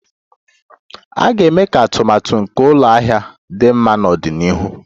A ga-eme ka atụmatụ nke ụlọ ahịa dị mma n'ọdịnihu.